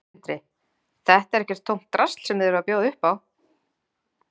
Sindri: Þetta er ekkert tómt drasl sem þið eruð að bjóða upp á?